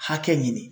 Hakɛ ɲini